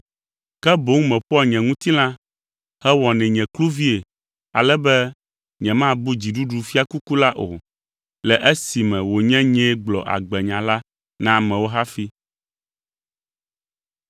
ke boŋ meƒoa nye ŋutilã hewɔnɛ nye kluvie ale be nyemabu dziɖuɖufiakuku la o, le esime wònye nyee gblɔ agbenya la na amewo hafi.